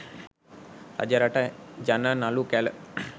රජරට ජන නළු කැල